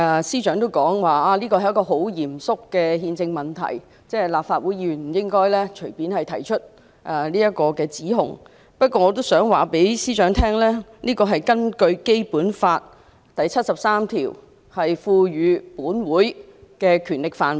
司長表示這是一個很嚴肅的憲政問題，立法會議員不應隨便提出這項指控，但我想對司長說，這是屬於《基本法》第七十三條賦予本會的權力範圍。